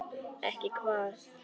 Ekki hvað?